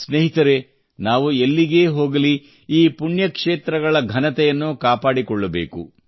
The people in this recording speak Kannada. ಸ್ನೇಹಿತರೇ ನಾವು ಎಲ್ಲಿಗೇ ಹೋಗಲಿ ಈ ಪುಣ್ಯಕ್ಷೇತ್ರಗಳ ಘನತೆಯನ್ನು ಕಾಪಾಡಿಕೊಳ್ಳಬೇಕು